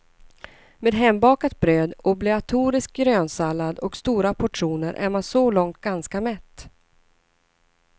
Med hembakat bröd, obligatorisk grönsallad och stora portioner är man så långt ganska mätt.